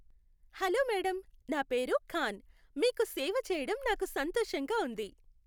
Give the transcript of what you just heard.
Hello madam, నా పేరు ఖాన్, మీకు సేవ చేయడం నాకు సంతోషంగా ఉంది.